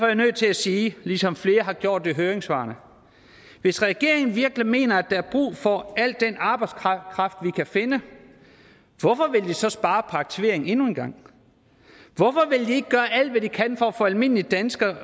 jeg nødt til at sige ligesom flere har gjort det i høringssvarene hvis regeringen virkelig mener at der er brug for al den arbejdskraft vi kan finde hvorfor vil den så spare på aktivering endnu en gang hvorfor vil de ikke gøre alt hvad de kan for at få almindelige danskere